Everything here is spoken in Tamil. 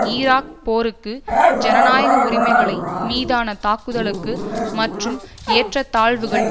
ஈராக் போருக்கு ஜனநாயக உரிமைகளை மீதான தாக்குதலுக்கு மற்றும் ஏற்றதாழ்வுகள்